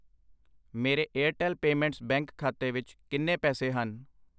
ਮੇਰੇ Airtel payments bank ਖਾਤੇ ਵਿੱਚ ਕਿੰਨੇ ਪੈਸੇ ਹਨ ?